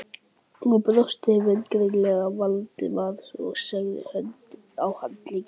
Hún brosti vingjarnlega til Valdimars og lagði hönd á handlegg